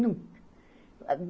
Nunca. Ah uh